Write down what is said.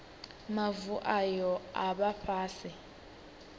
mavu ayo a vha fhasi